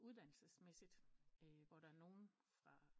Uddannelsesmæssigt hvor der er nogen fra